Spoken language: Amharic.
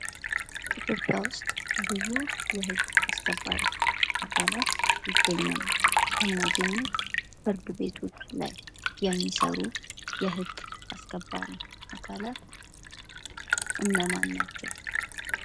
ኢትዮጵያ ውስጥ ብዙ የህግ አስከባሪ አካላት ይገኛሉ። ከነዚህም ውስጥ ፍርድ ቤቶች ላይ የሚሰሩ የህግ አስከባሪ አካላት እነማን ናቸው?